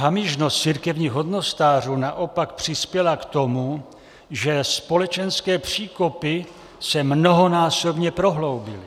Hamižnost církevních hodnostářů naopak přispěla k tomu, že společenské příkopy se mnohonásobně prohloubily.